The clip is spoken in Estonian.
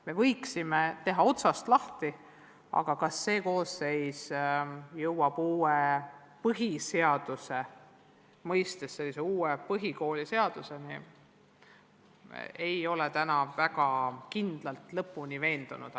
Me võiksime algust teha, ent et see koosseis võiks jõuda uue põhikooliseaduseni, selles ei ole ma täna mingil juhul veendunud.